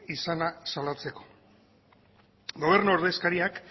izana salatzeko gobernu ordezkariak